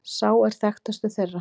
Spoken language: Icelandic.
Sá er þekktastur þeirra.